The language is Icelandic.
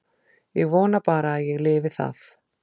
Ég vona bara að ég lifi það.